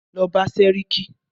Lọ bá sẹ́ríkí!